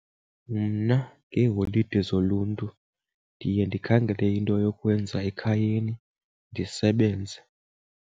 Mna ngeeholide zoluntu ndiye ndikhangele into yokwenza ekhayeni ndisebenze.